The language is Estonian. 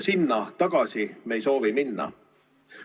Sinna tagasi me ei soovi minna.